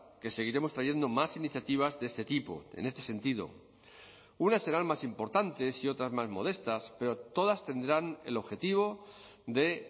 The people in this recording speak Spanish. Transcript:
que seguiremos trayendo más iniciativas de este tipo en este sentido unas serán más importantes y otras más modestas pero todas tendrán el objetivo de